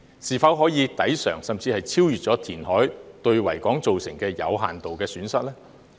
是否可以抵償甚至超越填海對維港造成的有限度損失呢？